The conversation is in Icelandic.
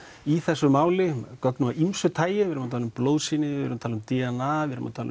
í þessu máli gögnum af ýmsu tagi við erum að tala um blóðsýni við erum að tala um d n a